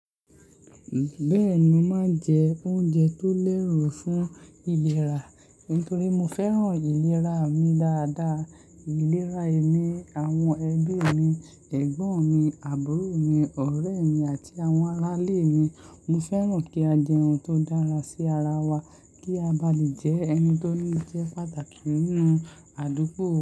Bẹ́ẹ̀ni, mo máa ń jẹ oúnjẹ tó lérù fún ìlera nítorí mo fẹ́ràn ìlera mi dáadáa. Ìlera èmi, àwọn ẹbí mi, ẹ̀gbọ́n mi, àbúrò mi, ọ̀rẹ́ mi àti àwọn arálè mi. Mo fẹ́ràn kí a jẹ ohun tó dára sí ara wa kí a bá lè jẹ́ ẹni tó ní jẹ́ pàtàkì nínú àdúgbò.